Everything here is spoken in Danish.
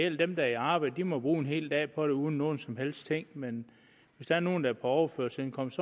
dem der er i arbejde må bruge en hel dag på det uden nogen som helst ting men hvis det er nogle der er på overførselsindkomst